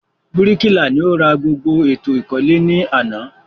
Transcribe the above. Bíríkìlà ni o ra gbogbo èlò ìkọ́lé ní àná